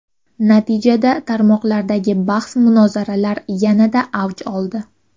Natijada tarmoqlardagi bahs-munozaralar yanada avj oldi.